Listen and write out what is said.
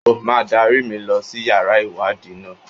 O má dárí mi lọ sí yàrá ìwádìí náà.